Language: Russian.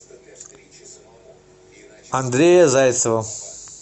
андрея зайцева